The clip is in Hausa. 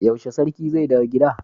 Yaushe sarki zai dawo gida